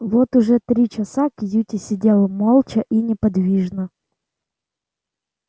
вот уже три часа кьюти сидел молча и неподвижно